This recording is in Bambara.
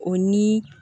O ni